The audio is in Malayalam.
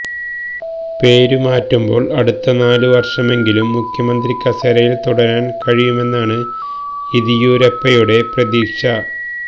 പേരു മാറ്റുമ്പോൾ അടുത്ത നാലു വർഷമെങ്കിലും മുഖ്യമന്ത്രി കസേരയിൽ തുടരാൻ കഴിയുമെന്നാണ് യെദിയുരപ്പയുടെ പ്രതീക്ഷ